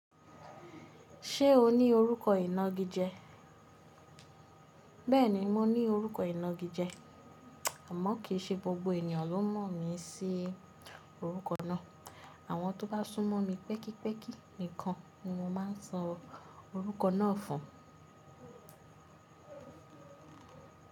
Ṣé o ní orúkọ ìnagijẹ? Bẹ́ẹ̀ni, mo ní orúkọ ìnagijẹ. Amọ̀ kì í ṣe gbogbo ènìyàn ló mọ̀ mí sí orúkọ náà. Àwọn tó bá sún mọ́ mi pẹ́kípẹ́kí nìkan ni mo máa ń sọ orúkọ náà fún.